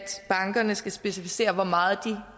bankerne skal specificere hvor meget de